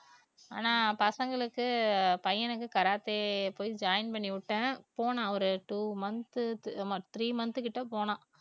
ஆனா பசங்களுக்கு பையனுக்கு karate போய் join பண்ணிவிட்டேன் போனான் ஒரு two month ஆமா three month கிட்ட போனான்